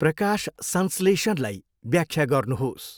प्रकाशसंश्लेषणलाई व्याख्या गर्नुहोस्।